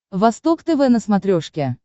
восток тв на смотрешке